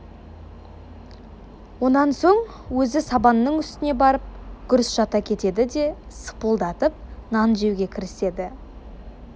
онан соң өзі сабанның үстіне барып гүрс жата кетеді де сыпылдатып нан жеуге кіріседі